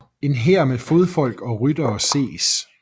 En hær med fodfolk og ryttere ses